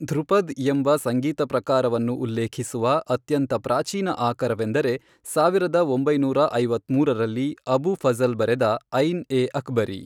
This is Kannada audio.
ಧ್ರುಪದ್ ಎಂಬ ಸಂಗೀತ ಪ್ರಕಾರವನ್ನು ಉಲ್ಲೇಖಿಸುವ ಅತ್ಯಂತ ಪ್ರಾಚೀನ ಆಕರವೆಂದರೆ ಸಾವಿರದ ಒಂಬೈನೂರ ಐವತ್ಮೂರರಲ್ಲಿ ಅಬು ಫಜಲ್ ಬರೆದ ಐನ್ ಎ ಅಕ್ಬರಿ.